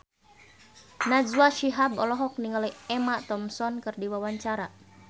Najwa Shihab olohok ningali Emma Thompson keur diwawancara